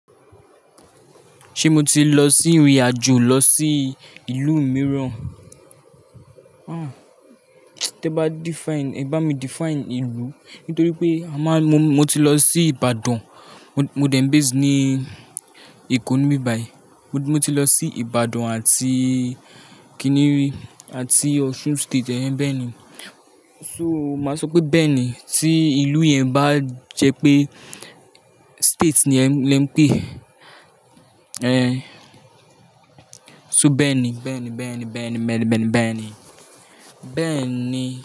Ṣé mo ti lọ sí ìrìnàjò lọ sí ìlú mìíràn? Ah! Tí ẹ bá define, ẹ bá mi define ìlú. Nítorí pé a máa-- mo, mo ti lọ sí Ìbàdàn. Mo, mo dẹ̀ ń base ní Èkó níbi yìí. Mo ti lọ sí Ìbàdàn àti Kini, àti Osun State, ẹ́ bẹ́ẹ̀ ni. So, màá sọ pé bẹ́ẹ̀ ni. Tí ìlú yẹn bá jẹ pé state ni ẹ́, lè ń pè é. Ehn. So bẹ́ẹ̀ ni, bẹ́ẹ̀ ni, bẹ́ẹ̀ ni, bẹ́ẹ̀ ni, bẹ́ẹ̀ ni, bẹ́ẹ̀ ni, bẹ́ẹ̀ ni. Bẹ́ẹ̀ ni.